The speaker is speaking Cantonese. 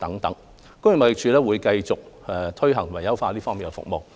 工業貿易署會繼續推行及優化這方面的服務。